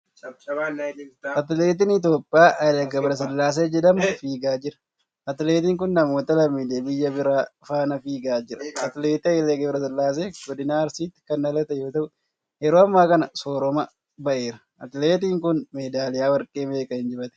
Atileetiin Itoophiyaa Hayilee Gabrasillaasee jedhamu fiigaa jira. Atileetiin kun, namoota lammiilee biyya biraa faana fiigaa jira. Atileet Hayilee Gabrasillaasee godina Arsiitti kan dhalate yoo ta'u, yeroo ammaa kana soorama ba'eera. Atileetin kun, meedaaliyaa warqee meeqa injifate?